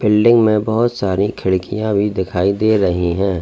Building में बहोत सारी खिड़कियां भी दिखाई दे रही हैं।